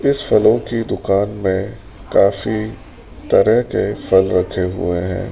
इस फलों की दुकान में काफी तरह के फल रखे हुए हैं।